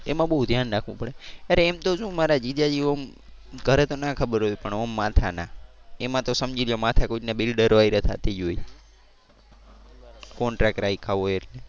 એમાં બહુ ધ્યાન રાખવું પડે. અરે એમ તો શું મારા જીજાજી ઓમ ઘરે તો ના ખબર હોય પણ ઓમ માથાના. એમાં તો સમજી લ્યો માથાકૂટ ને બિલ્ડરો હારે થતી જ હોય. contract રાખ્યા હોય એટલે.